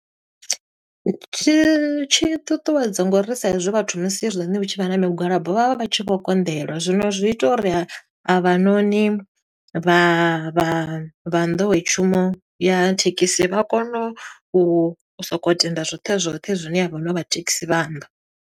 Tshi tshi ṱuṱuwedza ngo uri sa i zwi vhathu musi hezwinoni hu tshi vha na migwalabo vha vha vha tshi vho konḓelwa. Zwino zwi ita uri ha, avhanoni vha vha vha nḓowetshumo ya thekhisi vha kone u soko tenda zwoṱhe zwoṱhe zwine avhanoni vha thekhisi vha amba.